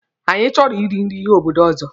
Anyị chọrọ I ri nri obodo ọzọ.